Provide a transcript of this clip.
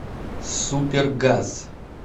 супер газ